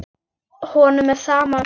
Honum er sama um fólk.